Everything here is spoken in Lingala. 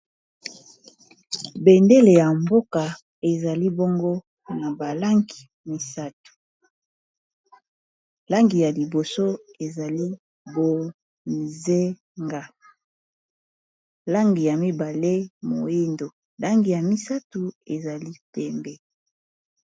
bendele ya mboka ezali bongo na balangi misatu langi ya liboso ezali bonzenga langi ya mibale moindo langi ya misato ezali pembe